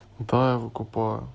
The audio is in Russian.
да я выкупаю